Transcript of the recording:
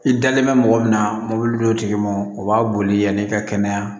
I dalen bɛ mɔgɔ min na mobili tigi ma o b'a boli yanni i ka kɛnɛya